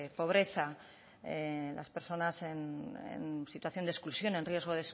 pobreza las personas en situación de exclusión en riesgo